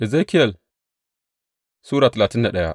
Ezekiyel Sura talatin da daya